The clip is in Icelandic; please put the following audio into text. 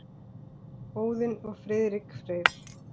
Óðinn og Friðrik Freyr.